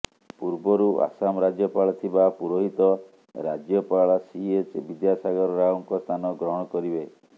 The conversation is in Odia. ପୂର୍ବରୁ ଆସାମ ରାଜ୍ୟପାଳ ଥିବା ପୁରୋହିତ ରାଜ୍ୟପାଳ ସିଏଚ ବିଦ୍ୟାସାଗର ରାଓଙ୍କ ସ୍ଥାନ ଗ୍ରହଣ କରିବେ